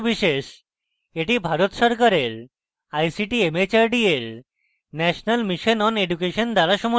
এটি ভারত সরকারের ict mhrd এর national mission on education দ্বারা সমর্থিত